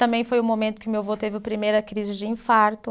Também foi o momento que meu avô teve o primeira crise de infarto.